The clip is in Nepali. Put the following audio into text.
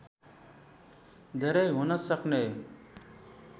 धेरै हुन सक्ने